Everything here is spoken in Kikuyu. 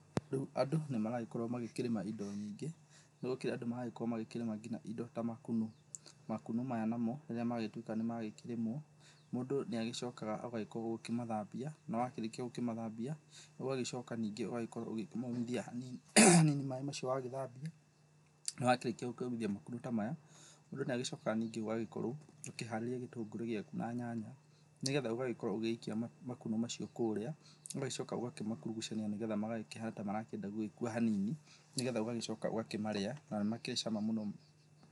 Rĩũ andũ nĩmagĩkorwo magĩkĩrĩma indo nyingĩ, marakĩrĩma indo ta makunũ, makunũ maya namo rĩrĩa magĩtuĩka nĩmakĩrĩmwo, mũndũ nĩagĩcokaga agakĩmathambia, na agĩkĩrĩkia kũmathambia ũgagĩcoka rĩngĩ ũgagĩcoka ũgakĩmomithia hanini, maĩ macio wagĩthambia na wakĩrĩkia kũmithithia makunũ ta maya mũndũ nĩagĩcokaga ningĩ akĩharirĩa gĩtũngũrũ gĩaku na nyanya nĩgetha ũgagĩkorwo ũgĩikia makunũ macio kũrĩa ,ũgagĩcoka ũgakĩgurucania nĩgetha magakĩhana ta marenda magagĩkua hanini nĩgetha ũgagĩcoka ũgakĩmarĩa na nĩmakĩrĩ cama mũno.